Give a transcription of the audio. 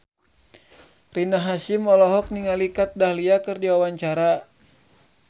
Rina Hasyim olohok ningali Kat Dahlia keur diwawancara